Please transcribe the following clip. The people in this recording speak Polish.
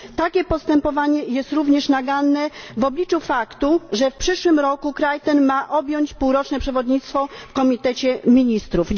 Takie postępowanie jest również naganne w obliczu faktu, że w przyszłym roku kraj ten ma objąć półroczne przewodnictwo w Komitecie Ministrów.